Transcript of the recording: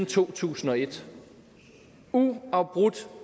to tusind og et uafbrudt